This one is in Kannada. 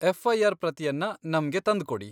ಎಫ್.ಐ.ಆರ್. ಪ್ರತಿಯನ್ನ ನಮ್ಗೆ ತಂದ್ಕೊಡಿ.